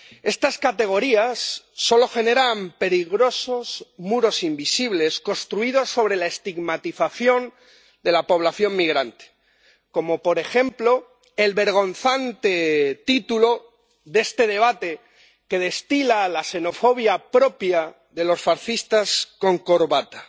Estas categorías solo generan peligrosos muros invisibles construidos sobre la estigmatización de la población migrante, como, por ejemplo, el vergonzante título de este debate, que destila la xenofobia propia de los fascistas con corbata.